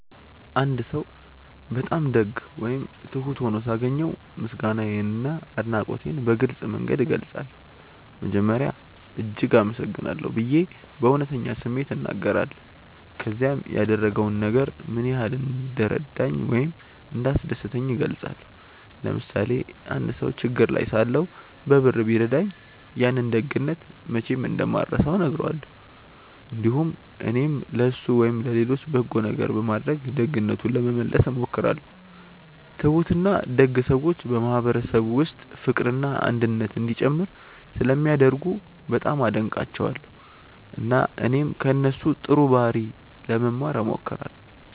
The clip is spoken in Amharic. አንድ ሰው በጣም ደግ ወይም ትሁት ሆኖ ሳገኘው ምስጋናዬንና አድናቆቴን በግልጽ መንገድ እገልጻለሁ። መጀመሪያ “እጅግ አመሰግናለሁ” ብዬ በእውነተኛ ስሜት እናገራለሁ፣ ከዚያም ያደረገው ነገር ምን ያህል እንደረዳኝ ወይም እንዳስደሰተኝ እገልጻለሁ። ለምሳሌ አንድ ሰው ችግር ላይ ሳለሁ በብር ቢረዳኝ፣ ያንን ደግነት መቼም እንደማልረሳው እነግረዋለሁ። እንዲሁም እኔም ለእሱ ወይም ለሌሎች በጎ ነገር በማድረግ ደግነቱን ለመመለስ እሞክራለሁ። ትሁትና ደግ ሰዎች በማህበረሰብ ውስጥ ፍቅርና አንድነት እንዲጨምር ስለሚያደርጉ በጣም አደንቃቸዋለሁ፣ እና እኔም ከእነሱ ጥሩ ባህሪ ለመማር እሞክራለሁ።